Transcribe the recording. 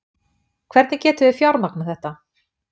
Hvernig getum við fjármagnað þetta?